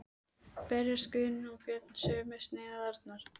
Berjast Guðni og Björn um sömu sneiðarnar?